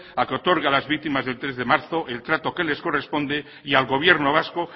a que otorgue a las víctimas del tres de marzo el trato que les corresponde y al gobierno vasco